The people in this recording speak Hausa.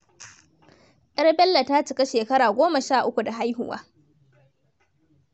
Yar Bello ta cika shekara goma sha uku da haihuwa.